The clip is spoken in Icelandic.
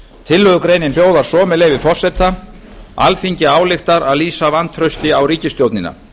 tillögugreinin hljóðar svo með leyfi forseta alþingi ályktar að lýsa vantrausti á ríkisstjórnina